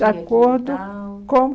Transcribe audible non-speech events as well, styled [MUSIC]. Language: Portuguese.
[UNINTELLIGIBLE] de acordo com